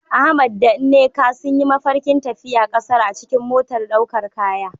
Ahmad da Nneka sun yi mafarkin tafiya kasar a cikin motar daukar kaya.